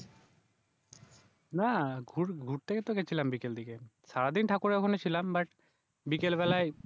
না ঘু ঘুরতে ইতো গেছিলাম বিকেল দিকে সারাদিন ঠাকুরের ওখানেই ছিলাম বাট বিকেল বেলায়